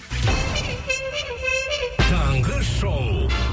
таңғы шоу